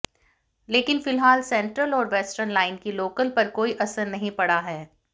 लेकिन फिलहाल सेंट्रल और वेस्टर्न लाइन की लोकल पर कोई असर नहीं पड़ा है